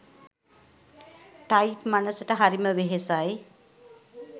type මනසට හරිම වෙහෙසයි